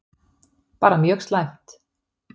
Bara mjög slæmt.